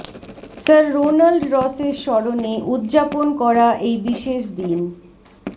sir Ronald রসের স্মরণে উদযাপন করা এই বিশেষ দিন